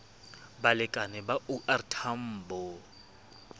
balekane ba o r tambo